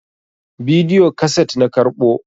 bidiyo kaset na karɓo